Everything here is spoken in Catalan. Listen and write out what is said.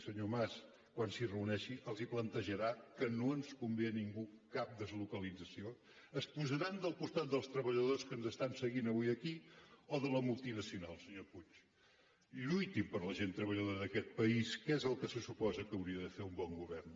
senyor mas quan s’hi reuneixi els plantejarà que no ens convé a ningú cap deslocalització es posaran del costat dels treballadors que ens estan seguint avui aquí o de la multinacional senyor puig lluitin per la gent treballadora d’aquest país que és el que se suposa que hauria de fer un bon govern